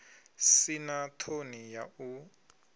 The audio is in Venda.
si na ṱhoni ya u